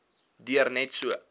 duur net so